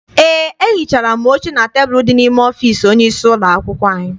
Eé, ehichaala m oche na tebulu dị n'ime ọfịịsi onye isi ụlọakwụkwọ anyị.